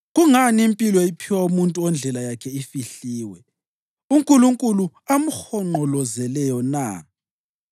Kungani impilo iphiwa umuntu ondlela yakhe ifihliwe, uNkulunkulu amhonqolozeleyo na?